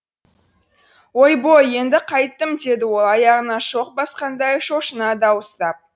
ойбой енді қайттім деді ол аяғына шоқ басқандай шошына дауыстап